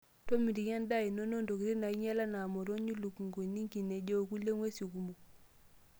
Tomitiki endaa inono ntokitin naainyial enaa motonyi, lukunguni, ngineji wokulie ng'uesi kumok.